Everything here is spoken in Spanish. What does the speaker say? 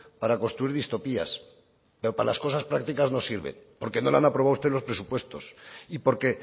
para construir distopías pero para las cosas prácticas no sirven porque no le han aprobado a usted los presupuestos y porque